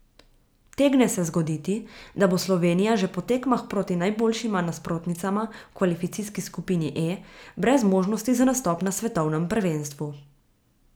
Utegne se zgoditi, da bo Slovenija že po tekmah proti najboljšima nasprotnicama v kvalifikacijski skupini E brez možnosti za nastop na svetovnem prvenstvu.